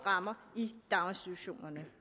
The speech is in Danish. rammer i daginstitutionerne